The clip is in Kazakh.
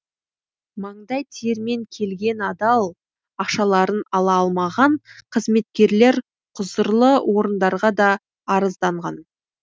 маңдай терімен келген адал ақшаларын ала алмаған қызметкерлер құзырлы орындарға да арызданған